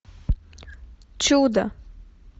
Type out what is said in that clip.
чудо